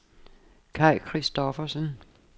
Kaj Kristoffersen